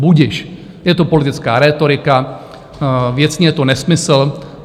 Budiž, je to politická rétorika, věcně je to nesmysl.